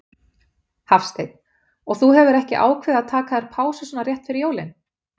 Hafsteinn: Og þú hefur ekki ákveðið að taka þér pásu svona rétt fyrir jólin?